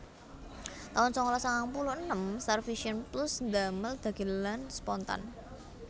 taun sangalas sangang puluh enem StarVision Plus ndamel dhagelan Spontan